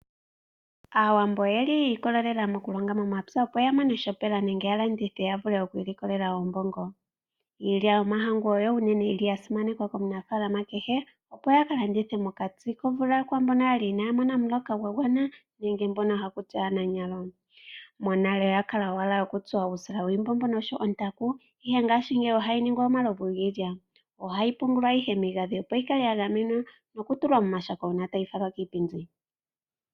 Aawambo oyeli yi ikolelela mokulonga momapya opo yamone shopela nenge ya landithe yavule oku ilikolela oombongo. Iilya yomahangu oyo unene yili yasimanekwa komunafaalama kehe opo ya kalandithe mokati komvula kwaambono yali inaya mona omuloka gwa gwana nenge mbono hakuti aananyalo. Monale oyakala owala nokutsa uusila wiimbombo oshowo ontaku ihe ngashingeyi ohayi ningi omalovi giilya . Ohayi pungulwa ihe miigandhi opo yikale ya gamenwa nokutulwa momashako uuna tayi falwa kiipindi.